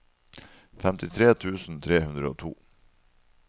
femtitre tusen tre hundre og to